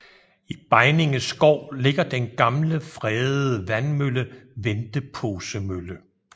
I Begninge skov ligger den gamle fredede vandmølle Venteposemølle